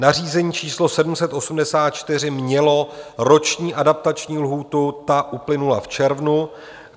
Nařízení číslo 784 mělo roční adaptační lhůtu, ta uplynula v červnu.